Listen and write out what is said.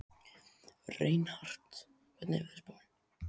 Reinhart, hvernig er veðurspáin?